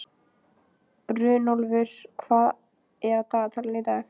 Runólfur, hvað er á dagatalinu í dag?